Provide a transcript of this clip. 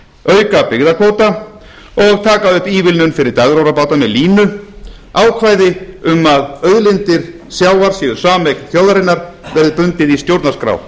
auka byggðakvóta og taka upp ívilnun fyrir dagróðrarbáta með línu ákvæði um að auðlindir sjávar séu sameign íslensku þjóðarinnar verði bundið í stjórnarskrá